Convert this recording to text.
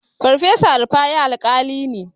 Farfesa Rufa'i Alƙali ne.